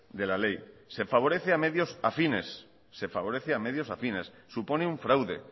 de la ley se favorece a medios afines se favorece a medios afines supone un fraude